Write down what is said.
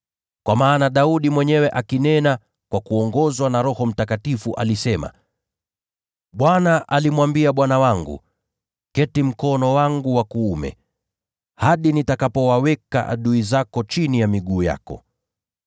Kwa maana Daudi mwenyewe, akinena kwa kuongozwa na Roho Mtakatifu, alisema: “‘ Bwana alimwambia Bwana wangu: “Keti mkono wangu wa kuume, hadi nitakapowaweka adui zako chini ya miguu yako.” ’